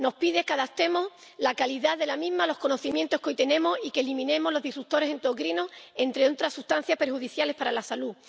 Nos pide que adaptemos la calidad de la misma a los conocimientos que hoy tenemos y que eliminemos los perturbadores endocrinos, entre otras sustancias perjudiciales para la salud.